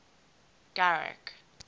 garrick